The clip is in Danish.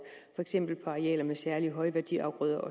for eksempel på arealer med særlige højværdiafgrøder